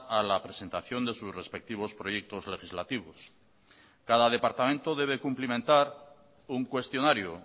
a la presentación de sus respectivos proyectos legislativos cada departamento debe cumplimentar un cuestionario